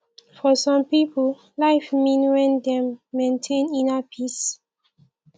for some pipo life mean when dem maintain inner peace